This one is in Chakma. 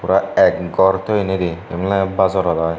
pura ek gor toyonnidey eben oley bazorot i.